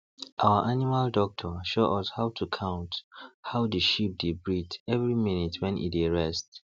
our animal doctor show us how to count how the sheep dey breathe every minute wen e dey rest